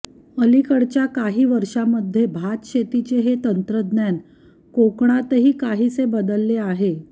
अलीकडच्या काही वर्षामध्ये भातशेतीचे हे तंत्रज्ञान कोकणातही काहीसे बदलले आहे